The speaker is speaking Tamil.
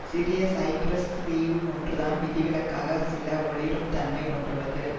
சிறிய சைப்ரஸ் தீவு ஒன்றுதான் விதிவிலக்காக சில ஒளிரும் தன்மை கொண்டுள்ளது